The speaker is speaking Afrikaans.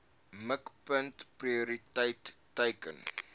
mikpunt prioriteit teiken